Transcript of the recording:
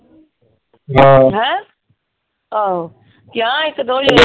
ਹੈਂ ਆਹੋ ਕਿਹਾ ਇੱਕ ਦੋ ਜਾਣੀਆਂ ਨੂੰ।